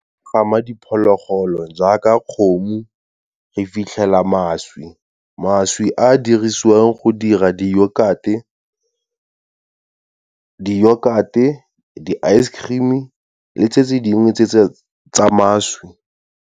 Gama diphologolo jaaka kgomo, re fitlhela mašwi. Mašwi a dirisiwang go dira , di-yogurt-e, di-ice cream-e le tse tse dingwe tse tsa mašwi.